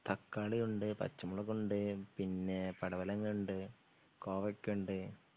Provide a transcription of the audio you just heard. തക്കാളിയുണ്ട് പച്ചമുളകുണ്ട് പിന്നെ പടവലങ്ങയുണ്ട് കോവക്കയുണ്ട്